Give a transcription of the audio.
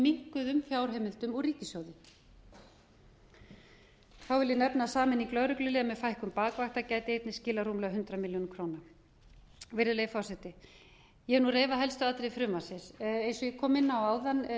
minnkuðum fjárheimildum úr ríkissjóði þá vil nefna að sameining lögregluliða með fækkun bakvakta gæti einnig skilað rúmlega hundrað milljónir króna virðulegi forseti ég hef nú reifað helstu atriði frumvarpsins eins og ég kom inn á áðan